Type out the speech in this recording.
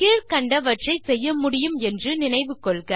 கீழ் கண்டவற்றை செய்ய முடியும் என்று நினைவு கொள்க